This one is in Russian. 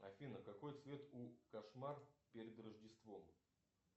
афина какой цвет у кошмар перед рождеством